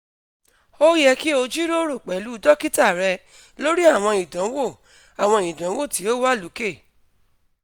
o yẹ ki o jiroro pẹlu dokita rẹ lori awọn idanwo awọn idanwo ti o wa loke